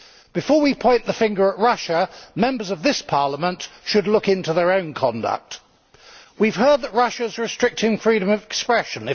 Before we point the finger at Russia, Members of this Parliament should look into their own conduct. We have heard that Russia is restricting freedom of expression.